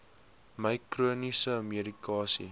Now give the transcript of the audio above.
my chroniese medikasie